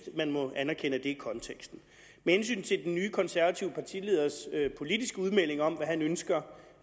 man må anerkende at det altså er konteksten med hensyn til den nye konservative partileders politiske udmeldinger om hvad han ønsker